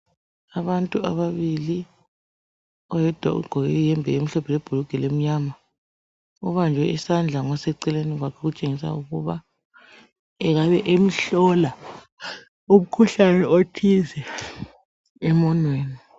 Abantu ababili, oyedwa ugqoke iyembe emhlophe le-bhulugwe elimnyama ubanjwe isandla ngoseceleni kwakhe okutshengisa ukuba engabe emhlola umkhuhlane othile emunweni.